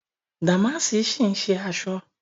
Dàmáàsì ń ṣì ṣe aṣọ